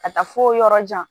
Ka taa fo yɔrɔ jan